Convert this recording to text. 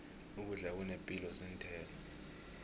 ukudla okunepilo zinthelo